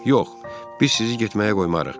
Yox, biz sizi getməyə qoymarıq.